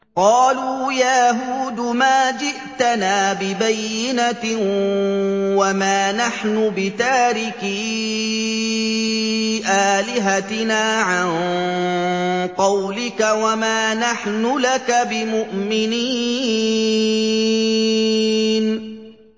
قَالُوا يَا هُودُ مَا جِئْتَنَا بِبَيِّنَةٍ وَمَا نَحْنُ بِتَارِكِي آلِهَتِنَا عَن قَوْلِكَ وَمَا نَحْنُ لَكَ بِمُؤْمِنِينَ